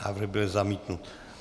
Návrh byl zamítnut.